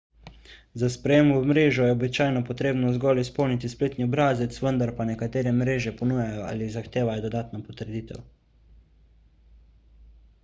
za sprejem v mrežo je običajno potrebno zgolj izpolniti spletni obrazec vendar pa nekatere mreže ponujajo ali zahtevajo dodatno potrditev